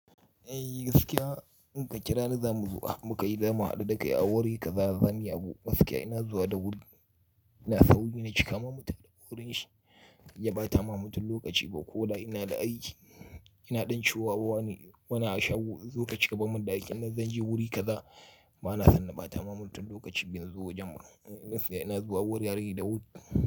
Eh gaskiya in ka kira ni za mu zuwa mu ka yi zamu haɗu da kai a wuri kaza zan yi abu. Gaskiya ina zuwa da wuri, ina sauri na cika ma mutane wurin shi ya ba ta mamu tun lokaci ba ko da ina da aiki. Ina ɗan ciwuwa wani, wani ashawu zo ka cika ba min da hakkin nan zan je wuri kaza. Ba na san na ba ta mamu tun lokacin bin zuwa Jamus. Ina zuwa wurin yare da wuri.